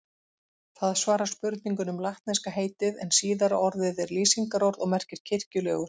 Það svarar spurningunni um latneska heitið en síðara orðið er lýsingarorð og merkir kirkjulegur.